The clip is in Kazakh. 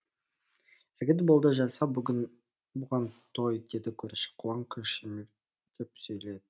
жігіт болды жаса бұған той деді көрші қолаң қошеметтеп сөйледі